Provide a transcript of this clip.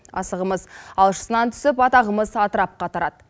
асығымыз алшысынан түсіп атағымыз атырапқа тарады